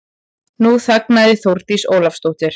Nú þagnaði Þórdís Ólafsdóttir.